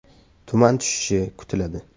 Tuman tushishi kutiladi.